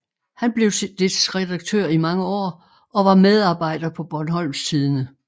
Han blev dets redaktør i mange år og var medarbejder på Bornholms Tidende